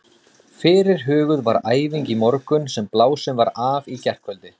Fyrirhuguð var æfing í morgun sem blásin var af í gærkvöldi.